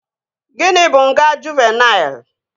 Gịnị bụ nga Juuvenịl?